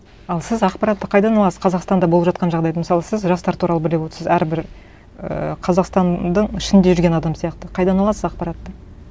ал сіз ақпаратты қайдан аласыз қазақстанда болып жатқан жағдайды мысалы сіз жастар туралы біліп отырсыз әрбір ііі қазақстанның ішінде жүрген адам сияқты қайдан аласыз ақпаратты